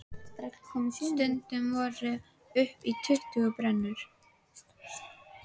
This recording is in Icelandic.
Stundum voru upp í tuttugu brennur.